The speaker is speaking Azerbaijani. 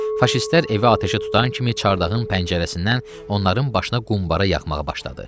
Faşistlər evə atəşə tutan kimi çardağın pəncərəsindən onların başına qumbara yağmağa başladı.